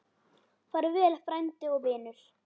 Far vel frændi og vinur.